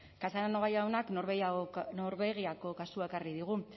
casanova jaunak norvegiako kasua ekarri digu